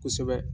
Kosɛbɛ